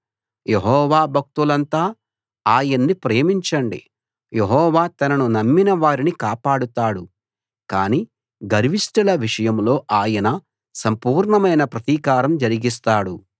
యెహోవా భక్తులంతా ఆయన్ని ప్రేమించండి యెహోవా తనను నమ్మిన వారిని కాపాడతాడు కానీ గర్విష్టుల విషయంలో ఆయన సంపూర్ణమైన ప్రతీకారం జరిగిస్తాడు